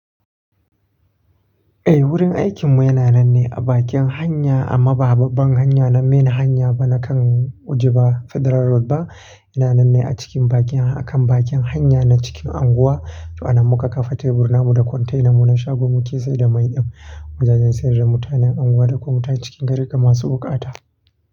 Eh, wurin aikinmu yana nan ne a bakin hanya amma ba babban hanya na main hanya ba na kan Ojiba Federal Road ba. Yana nan ne a cikin bakin, a kan bakin hanya na cikin anguwa. To, ana muka kafa tebur namu da container mu na shagon muke saida mai din wujajen sayar da mutanen anguwa da kuma mutane cikin gari kamar su wukata.